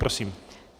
Prosím.